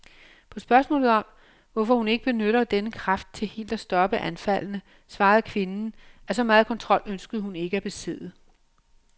På spørgsmålet om, hvorfor hun ikke benytter denne kraft til helt at stoppe anfaldene, svarede kvinden, at så megen kontrol ønskede hun ikke at besidde.